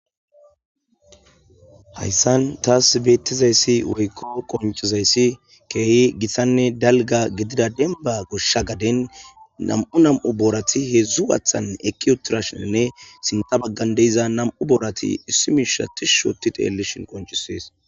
Haysan tas betizays woyko qoncizays kehi gitanne dalga gidida denban gosha garden nam'u nam'u borati hedzu waxan eqi utidashnne sinta bagan de'iza nam'u borati issi Misha tishi otidi xelishen qoncises